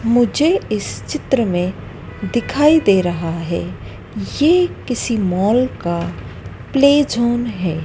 मुझे इस चित्र में दिखाई दे रहा है ये किसी मॉल का प्ले ज़ोन है।